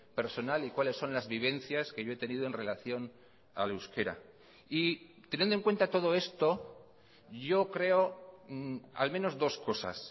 personal y cuáles son las vivencias que yo he tenido en relación al euskera y teniendo en cuenta todo esto yo creo al menos dos cosas